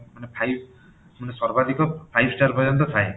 ମାନେ five ମାନେ ସର୍ବାଧିକ five star ପର୍ଯ୍ୟନ୍ତ ଥାଏ